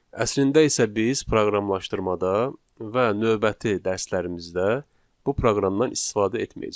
Əslində isə biz proqramlaşdırmada və növbəti dərslərimizdə bu proqramdan istifadə etməyəcəyik.